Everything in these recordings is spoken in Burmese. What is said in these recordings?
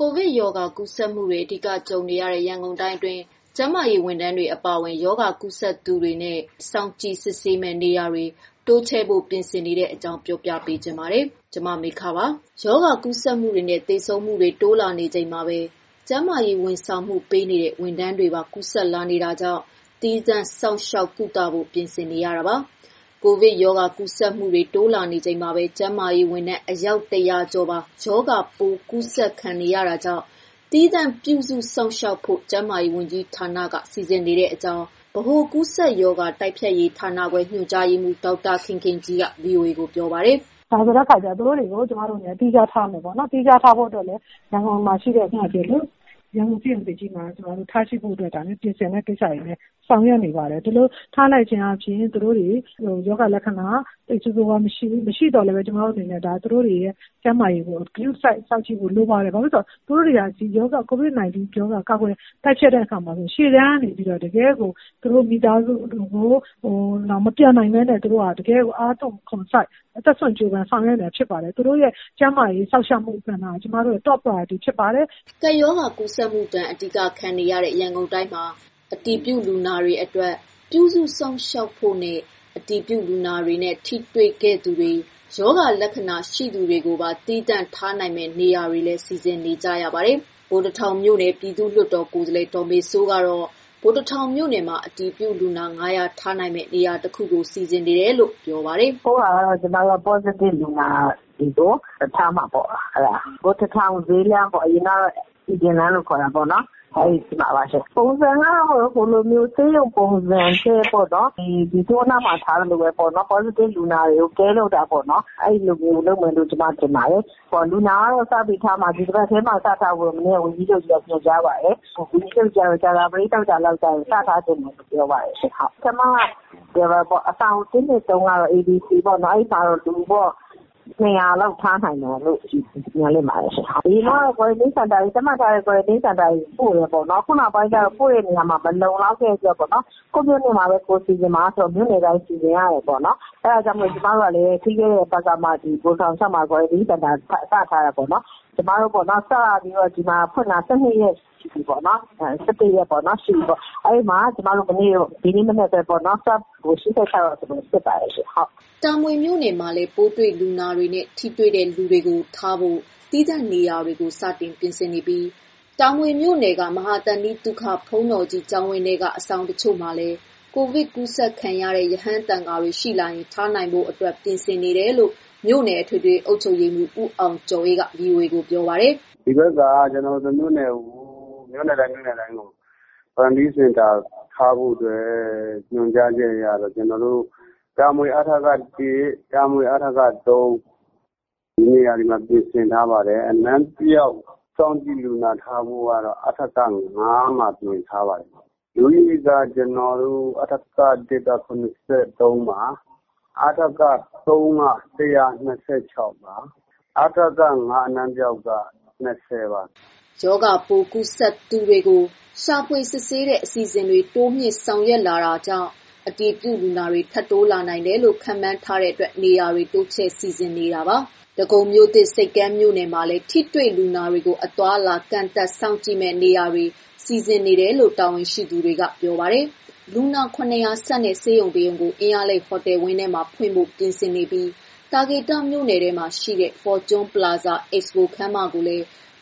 ကိုဗစ်ရောဂါကူးစက်မှုတွေ အဓိက ကြုံနေရတဲ့ ရန်ကုန်တိုင်းအတွင်း ကျန်းမာရေးဝန်ထမ်းတွေ အပါအဝင် ရောဂါကူးစက်သူတွေနဲ့ စောင့်ကြည့်စစ်ဆေးမယ့် နေရာတွေ တိုးချဲ့ဖို့ ပြင်ဆင်နေတဲ့အကြောင်း မမေခ ပြောပြပါမယ်။ ရောဂါကူးစက်မှုတွေနဲ့ သေဆုံးမှုတွေ တိုးလာနေချိန်မှာပဲ ကျန်းမာရေးဝန်ဆောင်မှုပေးနေတဲ့ ဝန်ထမ်းတွေပါ ကူးစက်လာနေတာကြောင့် သီးသန့်စောင့်ရှောက် ကုသဖို့ပြင်ဆင်နေတာပါ။ ကိုဗစ်ရောဂါ ကူးစက်မှုတွေ တိုးလာနေချိန်မှာပဲ ကျန်းမာရေးဝန်ထမ်း ၁၀၀ ကျော်ပါ ရောဂါပိုးကူးစက်ခံခဲ့ရတာကြောင့် သီးသန့်ပြုစုစောင့်ရှောက်ဖို့ ကျန်းမာရေးဝန်ကြီးဌာနက စီစဉ်နေကြောင်း ဗဟိုကူးစက်ရောဂါ တိုက်ဖျက်ရေးဌာနခွဲ ညွှန်ကြားရေးမှူး ဒေါက်တာခင်ခင်ကြီးက ဗွီအိုအေကို ပြောပါတယ်။ “သူတို့တွေကို ကျမတို့သီးခြားထားမယ်။ သီးခြားဖို့အတွက်လည်းရန်ကုန်မှာ ရှိတဲ့ ရန်ကုန်ဆေးရုံသစ်ကြီးမှာ သီးခြားထားဖို့ ကျမတို့ပြင်ဆင်တဲ့ကိစ္စတွေလည်း ဆောင်ရွက်နေပါတယ်။ ဒီလိုထားလိုက်ခြင်းအားဖြင့် ရောဂါလက္ခဏာသိပ်ဆိုးဆိုးရွားရွားကြီး မရှိပေမယ့် သူတို့တွေရဲ့ ကျန်းမာရေးကို ဂရုတစိုက်စောင့်ကြည့်ဖို့လိုပါတယ်။ ဘာလို့လဲဆိုရင် သူတို့ဟာ COVID 19 ရောဂါ ကာကွယ်တိုက်ဖျက်တဲ့အခါမှာ ရှေ့တန်းကနေပြီးတော့ တကယ့်ကို သူတို့ မိသားစုတွေကို မပြန်ပဲနဲ့ တကယ့်ကို အားသွန်ခွန်စိုက်အသက်စွန့်ပြီးတော့ ဆောင်ရွက်နေတာဖြစ်ပါတယ်။ သူတို့ရဲ့ ကျန်းမာရေး စောင့်ရှောက်မှု ကဏ္ဍက ကျမတို့ရဲ့ ပထမဦးစားပေးလုပ်ငန်းတခုပါ” ကပ်ရောဂါ ကူးစက်မှုဒဏ် အဓိကခံနေရတဲ့ ရန်ကုန်တိုင်းမှာ အတည်ပြုလူနာတွေအတွက် ပြုစုစောင့်ရှောက်ဖို့နဲ့ အတည်ပြု လူနာတွေနဲ့ ထိတွေ့ခဲ့သူတွေ၊ ရောဂါလက္ခဏာရှိသူတွေကိုပါ သီးသန့်ထားနိုင်မယ့် နေရာတွေကိုလည်း စီစဉ်နေကြပါတယ်။ ဗိုလ်တထောင် မြို့နယ် ပြည်သူ့လွှတ်တော်ကိုယ်စားလှယ် ဗိုလ်တထောင်မြို့နယ်မှာ အတည်ပြုလူနာ (၅၀၀) ထားနိုင်မယ့် နေရာတခုကို စီစဉ်နေတယ်လို့ ပြောပါတယ်။ “အခုကတော့ ပေါ့စတစ်လူနာတွေကို ထားမှာပေါ့၊ ဗိုလ်တထောင်ဈေးလမ်းအရင်ကတော့ စည်ပင်လမ်းခေါ်တာပေါ့နော်။ ပုံစံကတော့ဆေးရုံပုံစံထက် သုဝဏ္က ပုံစံလိုပါပဲ။ Positive လူနာတွေကို ဂရုစိုက်တာမျိုးလုပ်မှာပေါ့။ လူနာကတော့ ဒီတပတ်ထဲထားဖို့ ဝန်ကြီးချုပ်က ညွှန်ကြားပါတယ်။ ဝန်ကြီးချုပ်က ဒီကြာသပတေး၊ သောကြာ စထားချင်တယ်ပြော ပါတယ်။ ပထမကတော့ အဆောင် ၁၊၂၊ ၃ LC မှာ ၂၀၀လောက်ထားနိုင်တယ်လို့ မျှော်လင့်ပါတယ်ရှင့်။ အရင်ကတော့ သတ်မှတ်ထထားတဲ့ ကွာရန်တင်းစင်တာတွေ ပို့တယ်ပေါ့နော် ။ အခုကတော့ မလုံလောက်တဲ့အတွက် ကိုယ့်မြို့နယ်မှာပဲ စီစဉ်ပါဆိုတော့ အခုလို စီစဉ်ရတယ်ပေါ့နော်။ အဲဒါကြောင့်မို့လို့ ပြီးခဲ့တဲ့ပတ်က ၆ မိုင်ခွဲမှာ ကွာရန်တင်းစင်တာစထားတယ်ပေါ့နော်။ အားလုံး ဒီမှာ စပြီးတော့ ဖွင့်တာ ၁၂ ရက်ရှိပြီပေါ့နော်။ ကျမတို့ ဒီနေ့မနက်ပဲ swab ကို ၈၆ ယောက် စစ်ပါတယ်ရှင့်။” တာမွေမြို့နယ်မှာလည်း ပိုးတွေ့လူနာတွေနဲ့ ထိတွေ့တဲ့ လူတွေကိုထားဖို့ သီးသန့်နေရာတွေကိုလည်း စတင် ပြင်ဆင်နေပြီး တာမွေ မြို့နယ်က မဟာသန္တိသုခ ဘုန်းတော်ကြီးကျောင်းဝင်းထဲက အဆောင်အချို့မှာလည်း ကိုဗစ် ကူးစက်ခံ ရတဲ့ ရဟန်းသံဃာတွေ ရှိလာရင်ထားနိုင်ဖို့ အတွက် ပြင်ဆင်နေတယ်လို့ မြို့နယ် အထွေထွေ အုပ်ချုပ် ရေးမှုး ဦးအောင်ကျော်အေးက ဗွီအိုအေကိုပြောပါတယ်။ “အခုဒီဘက်က မြို့နယ်တိုင်းကို ကွာရန်တင်းစင်တာထားဖို့အတွက် ညွှန်ကြားချက်ရလို့ ကျနော်တို့ တာမွေ အထက (၁)၊ တာမွေ အထက (၃)၊နေရာတွေကို ထိတွေ့လူနာတွေထားဖို့ဒီနေရာတွေမှာပြင်ထားတယ်။ အနံပျောက် စောင့်ကြည့်လူနာ ထားဖို့အတွက်ကတော့ အထက (၅)မှာ ပြင်ထားပါတယ်။ လူဦးရေ က အထက( ၁)က ၇၃ ပါ။ အထက (၃) က ၁၂၆ယောက် ပါ။ အထက (၅) အနံပျောက်က ၂၀ပါ။ ရောဂါပိုးကူးစက်သူတွေကို ရှာဖွေစစ်ဆေးတဲ့ အစီအစဉ်တွေကို တိုးမြှင့်ဆောင်ရွက်လာနေတာကြောင့် အတည်ပြုလူနာတွေ ထပ်တိုးလာနိုင်တယ်လို့လည်း ခန့်မှန်းထားတဲ့အတွက် နေရာတွေကို တိုးချဲ့စီစဉ်နေတာပါ။ ဒဂုံမြို့သစ်(ဆိပ်ကမ်း)မြို့နယ်၊ မှာလည်း ထိတွေ့လူနာတွေကို အသွားအလာ ကန့်သတ်စောင့်ကြည့်မယ့် နေရာတွေကို စီစဉ်နေတယ်လို့ တာဝန်ရှိသူတွေက ပြောပါတယ်။ လူနာ ၇၀၀ ဆန့်တဲ့ ဆေးရုံတစ်ရုံကို အင်းလျားလိတ် ဟိုတယ်ဝင်းထဲမှာ ဖွင့်ဖို့ ပြင်ဆင်နေပြီး၊ သာကေတ မြို့နယ်ထဲမှာရှိတဲ့ Fortune Plaza Expo ခန်းမကို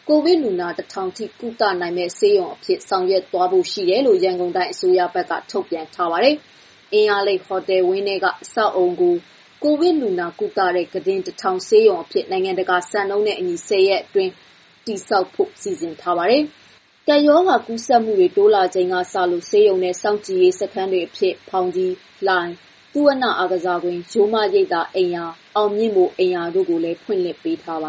ကိုဗစ်လူနာ ၁၀၀၀ ထိကုသနိုင်မယ့် ဆေးရုံအဖြစ် ဆောင်ရွက်သွား ဖို့ရှိတယ်လို့ ရန်ကုန်တိုင်းအစိုးရက သတင်းထုတ်ပြန်ထားပါတယ်။ အင်းလျားလိတ်ဟိုတယ်ဝင်းထဲက အဆောက်အအုံကို ကိုဗစ်လူနာ ကုသတဲ့ ခုတင် ၁၀၀၀ ဆေးရုံ အဖြစ် နိုင်ငံတကာ စံနှုန်းနဲ့ အညီ ၁၀ ရက်အတွင်း တည်ဆောက်ဖို့ စီစဉ်ထားပါတယ်။ ကပ်ရောဂါ ကူးစက်မှုတွေ တိုးလာချိန်ကစလို့ ဆေးရုံနဲ့ စောင့်ကြည့်ရေးစခန်းတွေအဖြစ် ဖောင်ကြီး၊ လှိုင်၊ သုဝဏ္ဏအားကစားကွင်း၊ ရိုးမရိပ်သာ အိမ်ရာ ၊အောင်မြင့်မိုရ် အိမ်ရာတို့လည်း ဖွင့်လှစ်ထားပါ